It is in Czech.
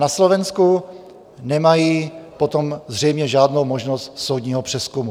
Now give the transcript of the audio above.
Na Slovensku nemají potom zřejmě žádnou možnost soudního přezkumu.